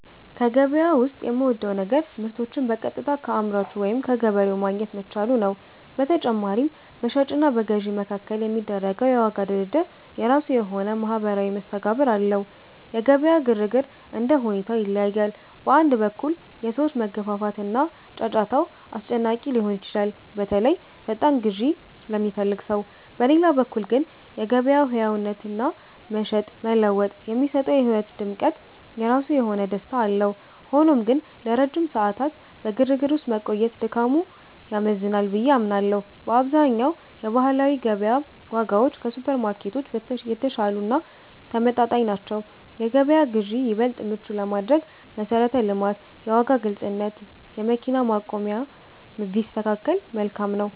ከገበያ ዉስጥ የምወደው ነገር ምርቶችን በቀጥታ ከአምራቹ ወይም ከገበሬው ማግኘት መቻሉ ነው። በተጨማሪም፣ በሻጭ እና በገዥ መካከል የሚደረገው የዋጋ ድርድር የራሱ የሆነ ማኅበራዊ መስተጋብር አለው። የገበያ ግርግር እንደ ሁኔታው ይለያያል። በአንድ በኩል፣ የሰዎች መገፋፋት እና ጫጫታው አስጨናቂ ሊሆን ይችላል፤ በተለይ ፈጣን ግዢ ለሚፈልግ ሰው። በሌላ በኩል ግን፣ የገበያው ሕያውነትና "መሸጥ መለወጥ" የሚሰጠው የሕይወት ድምቀት የራሱ የሆነ ደስታ አለው። ሆኖም ግን፣ ለረጅም ሰዓታት በግርግር ውስጥ መቆየት ድካሙ ያመዝናል ብዬ አምናለሁ። በአብዛኛው የባህላዊ ገበያ ዋጋዎች ከሱፐርማርኬቶች የተሻሉ እና ተመጣጣኝ ናቸው። የገበያ ግዢን ይበልጥ ምቹ ለማድረግ መሠረተ ልማት፣ የዋጋ ግልጽነት፣ የመኪና ማቆሚያ ቢስተካከከል መልካም ነው።